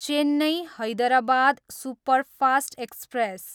Chennai, Hyderabad superfast express